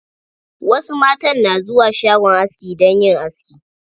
Wasu matan na zuwa shagon aski dan yin aski.